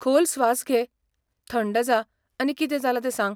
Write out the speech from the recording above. खोल स्वास घे, थंड जा आनी कितें जालां तें सांग.